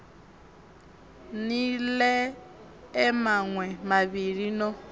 ni ḽee maṋwe mavhili no